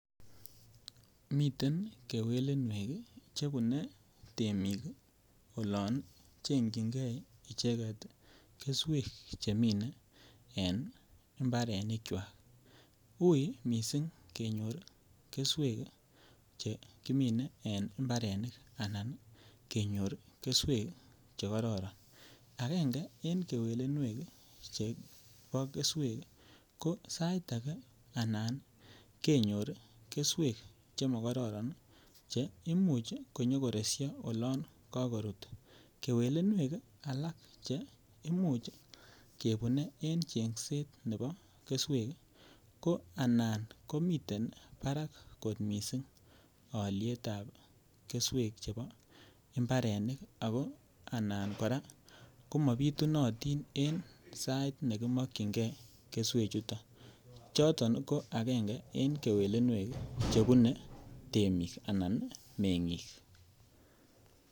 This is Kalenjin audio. Miten kewelinwek Che bune temik olon chengchigei icheget keswek chemine en mparenikwak uui mising kenyor keswek Che kimine en mbarenik anan kenyor keswek Che kororon agenge en kewelinwek chebo keswek ko sait ake ko anan kenyor keswek chemo karoron Che Imuch koresyo olon ko korut kewelinwek alak Che Imuch kebune en chengset nebo keswek ko anan ko miten barak kot mising alyet ab keswek chebo mbarenik ako kora anan komabitunotin en sait nekimokyingei keswechuto choto ko agenge en kewelinwek chebune temik anan mengik